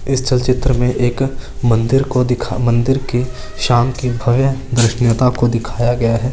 इस चलचित्र में एक मंदिर को दिखा मंदिर के साम की भव्य की दिखाया गया है।